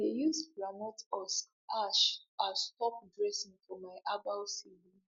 i dey use groundnut husk ash as top dressing for my herbal seedlings